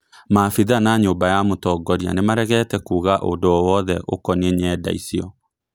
Maabithaa na nyũmba ya mutongoria nĩ marĩgĩte kuuga ũndũ o wothe ũkonie nyenda icio